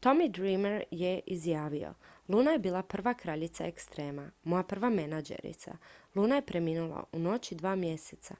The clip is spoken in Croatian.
"tommy dreamer je izjavio: "luna je bila prva kraljica ekstrema. moja prva menadžerica. luna je preminula u noći dva mjeseca.